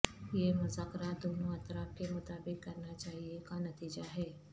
یہ مذاکرات دونوں اطراف کے مطابق کرنا چاہئے کا نتیجہ ہے